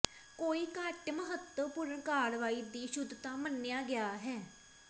ਕੋਈ ਘੱਟ ਮਹੱਤਵਪੂਰਨ ਕਾਰਵਾਈ ਦੀ ਸ਼ੁੱਧਤਾ ਮੰਨਿਆ ਗਿਆ ਹੈ